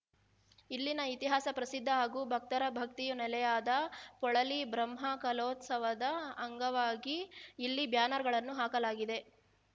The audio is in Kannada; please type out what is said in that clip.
ಇಲ್ಲಿನ ಇತಿಹಾಸ ಪ್ರಸಿದ್ಧ ಹಾಗೂ ಭಕ್ತರ ಭಕ್ತಿಯ ನೆಲೆಯಾದ ಪೊಳಲಿ ಬ್ರಹ್ಮಕಲೋತ್ಸವದ ಅಂಗವಾಗಿ ಇಲ್ಲಿ ಬ್ಯಾನರ್ ಗಳನ್ನು ಹಾಕಲಾಗಿದೆ